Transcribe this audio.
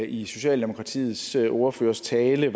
i socialdemokratiets ordførers tale